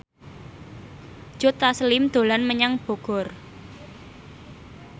Joe Taslim dolan menyang Bogor